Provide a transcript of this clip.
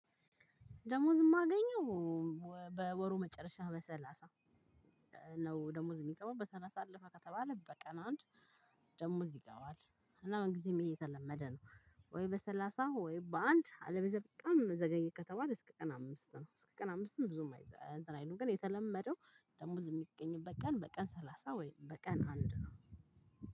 ደሞዝ የማገኘው በወሩ መጨረሻ በሰላሳ ነው። ደሞዝ የሚገባው በሰላሳ አለፈ ከተባለ በቀን አንድ ደሞዝ ይገባል እና ምንጊዜም ይሄ የተለመደ ነው። ወይ በሰላሳ ወይ በአንድ አለበለዚያ በጣም ዘገየ ከተባለ እስከ ቀን አምስት ነው። እስከ ቀን አምስትም ብዙም እንትን አይሉም ግን የተለመደው ደሞዝ የሚገኝበት ቀን በቀን ሰላሳ ወይም በቀን አንድ ነው።